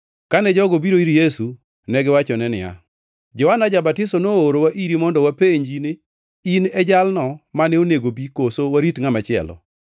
Kane jogo obiro ir Yesu, negiwachone niya, “Johana ja-Batiso noorowa iri mondo wapenj ni, ‘In e jalno mane onego obi, koso warit ngʼat machielo?’ ”